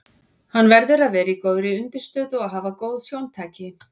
Hann verður að vera á góðri undirstöðu og hafa góð sjóntæki.